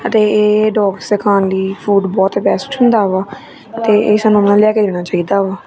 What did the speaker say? ਅਤੇ ਇਹ ਡੋਗਸ ਦੇ ਖਾਣ ਲਈ ਫੂਡ ਬਹੁਤ ਬੈਸਟ ਹੁੰਦਾ ਵਾ ਤੇ ਇੱਸ ਨੂੰ ਨਾ ਲਿਆ ਕੇ ਦੇਣਾ ਚਾਹੀਦਾ ਵਾ।